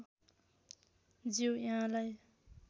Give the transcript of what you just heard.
ज्यू यहाँलाई